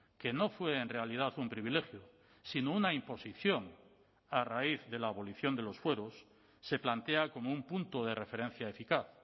que no fue en realidad un privilegio sino una imposición a raíz de la abolición de los fueros se plantea como un punto de referencia eficaz